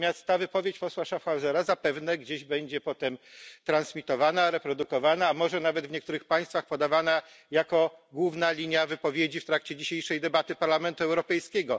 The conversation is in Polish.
Natomiast ta wypowiedź posła Schaffhausera zapewne gdzieś będzie potem transmitowana, reprodukowana, a może nawet w niektórych państwach podawana jako główna linia wypowiedzi w trakcie dzisiejszej debaty Parlamentu Europejskiego.